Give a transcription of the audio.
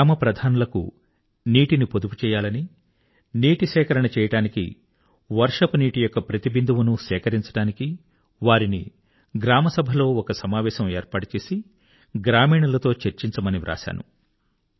గ్రామప్రధానులకు నీటిని పొదుపుచేయాలని నీటి సేకరణ చేయడానికి వర్షపునీటియొక్క ప్రతి బిందువునూ సేకరించడానికి వారిని గ్రామసభలో ఒక సమావేశం ఏర్పాటు చేసి గ్రామీణులతో చర్చించమని వ్రాశాను